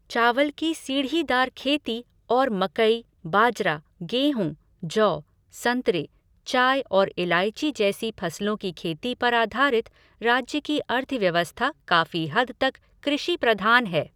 चावल की सीढ़ीदार खेती और मकई, बाजरा, गेहूँ, जौ, संतरे, चाय और इलायची जैसी फसलों की खेती पर आधारित राज्य की अर्थव्यवस्था काफी हद तक कृषि प्रधान है।